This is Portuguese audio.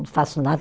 Não faço nada.